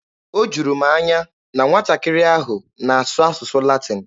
O juru m anya na nwatakịrị ahụ na-asụ asụsụ Latin.